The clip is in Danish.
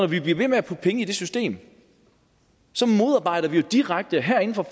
vi bliver ved med at putte penge i det system så modarbejder vi jo direkte herinde fra